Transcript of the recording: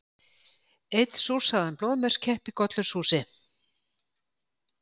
Einn súrsaðan blóðmörskepp í gollurshúsi.